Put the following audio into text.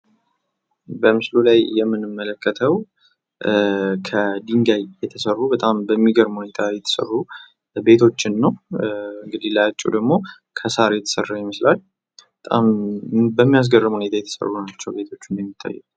በምስሉ ላይ የምንመለከተው ከድንጋይ የተሰሩ በጣም በሚገርም ሁኔታ የተሰሩ ቤቶችን ነው። እንግዲህ ላያቸው ደሞ ከሳር የተሰራ ይመስላል በጣም በሚያስገርም ሁኔታ የተሰሩ ናቸው እንደሚያሳየው።